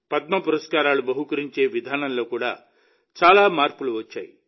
పద్మ పురస్కారాలు బహూకరించే విధానంలో కూడా చాలా మార్పులు వచ్చాయి